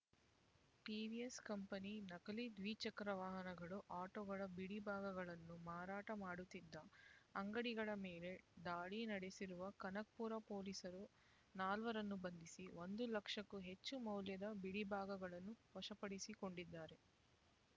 ಟಿವಿಎಸ್ ಕಂಪನಿಯ ನಕಲಿ ದ್ವಿಚಕ್ರ ವಾಹನಗಳು ಆಟೋಗಳ ಬಿಡಿಭಾಗಗಳನ್ನು ಮಾರಾಟ ಮಾಡುತ್ತಿದ್ದ ಅಂಗಡಿಗಳ ಮೇಲೆ ದಾಳಿ ನಡೆಸಿರುವ ಕನಕಪುರ ಪೊಲೀಸರು ನಾಲ್ವರನ್ನು ಬಂಧಿಸಿ ಒಂದು ಲಕ್ಷಕ್ಕೂ ಹೆಚ್ಚು ಮೌಲ್ಯದ ಬಿಡಿಭಾಗಗಳನ್ನು ವಶಪಡಿಸಿಕೊಂಡಿದ್ದಾರೆ